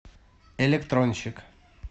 электронщик